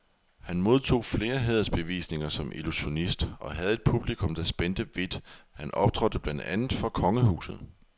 Han modtog flere hædersbevisninger som illusionist, og havde et publikum, der spændte vidt, han optrådte blandt andet for kongehuset.